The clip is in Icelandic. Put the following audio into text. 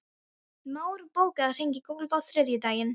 Már, bókaðu hring í golf á þriðjudaginn.